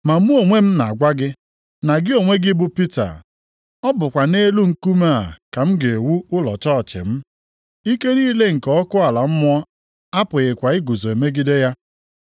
Ma mụ onwe m na-agwa gị, na gị onwe gị bụ Pita. + 16:18 Nʼasụsụ ndị Griik Pita pụtara Nkume . Ọ bụkwa nʼelu nkume a ka m ga-ewu ụlọ chọọchị m. Ike niile nke ọkụ ala mmụọ apụghịkwa iguzo megide ya.